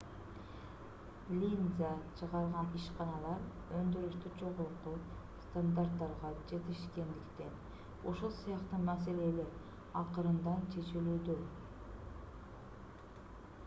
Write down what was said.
линза чыгарган ишканалар өндүрүштө жогорку стандарттарга жетишкендиктен ушул сыяктуу маселелер акырындан чечилүүдө